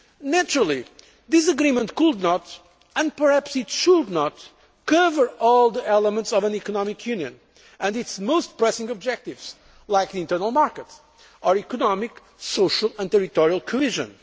Naturally this agreement could not and perhaps it should not cover all the elements of an economic union and its most pressing objectives like the internal market or economic, social and territorial cohesion.